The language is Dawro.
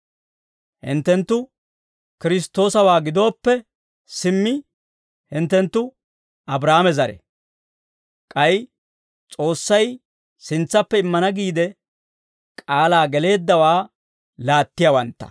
Hinttenttu Kiristtoosawaa gidooppe, simmi hinttenttu Abraahaame zare; k'ay S'oossay sintsappe immana giide k'aalaa geleeddawaa laattiyaawantta.